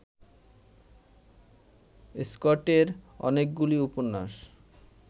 স্কটের অনেকগুলি উপন্যাস